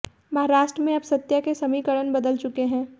महाराष्ट्र में अब सत्ता के समीकरण बदल चुके हैं